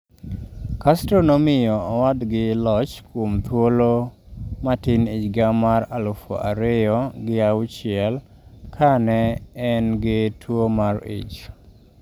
Castro nomiyo owadgi loch kuom thuolo matin e higa mar alafuariyogi auchiel ka ne en gi tuwo mar ich.